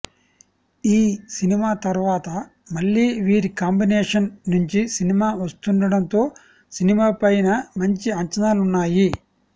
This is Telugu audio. ఈ సినిమా తర్వాత మళ్ళీ వీరి కాంబినేషన్ నుంచి సినిమా వస్తుండడంతో సినిమాపైన మంచి అంచనాలు ఉన్నాయి